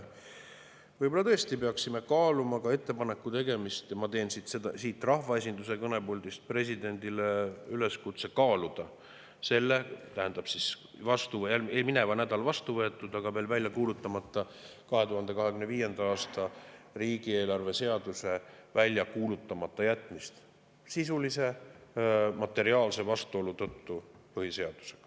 Võib-olla tõesti peaksime kaaluma ka selle ettepaneku tegemist, ja ma teen siit rahvaesinduse kõnepuldist presidendile üleskutse kaaluda selle mineval nädalal vastu võetud, aga veel välja kuulutamata 2025. aasta riigieelarve seaduse välja kuulutamata jätmist sisulise materiaalse vastuolu tõttu põhiseadusega.